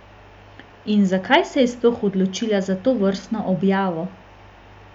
In zakaj se je sploh odločila za tovrstno objavo?